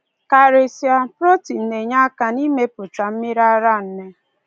Karịsịa, protin na-enye aka n’imepụta mmiri ara nne.